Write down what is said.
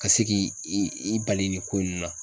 Ka se k'i i i bali nin ko in na